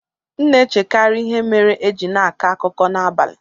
M na-echekarị ihe mere e ji na-akọ akụkọ n'abalị.